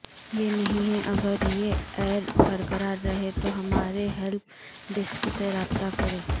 یہ نہیں ہے اگر یہ ایرر برقرار رہے تو ہمارے ہیلپ ڈیسک سے رابطہ کریں